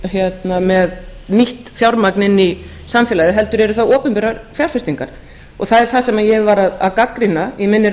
ekki með nýtt fjármagn inn í samfélagið heldur eru það opinberar fjárfestingar það er það sem ég var að gagnrýna í minni